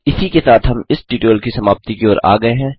इसी के साथ हम इस ट्यूटोरियल की समाप्ति की ओर आ गये हैं